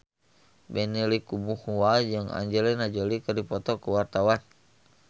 Benny Likumahua jeung Angelina Jolie keur dipoto ku wartawan